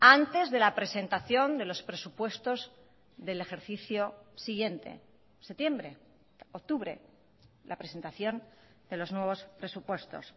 antes de la presentación de los presupuestos del ejercicio siguiente septiembre octubre la presentación de los nuevos presupuestos